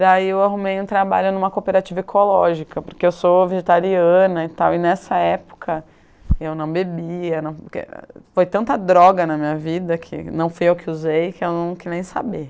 Daí eu arrumei um trabalho em uma cooperativa ecológica, porque eu sou vegetariana e tal, e nessa época eu não bebia, porque foi tanta droga na minha vida que não fui eu que usei que eu não quis nem saber.